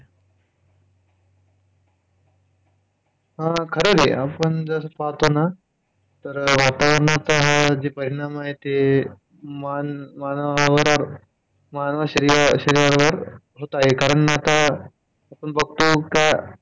हा खरंय हे! आपण जे पाहतो ना तर वातावरणचा हा जे परिणाम आहे ते मानवावर, मानवी शरीरावर होत आहे कारण आता आपण बघतोय का,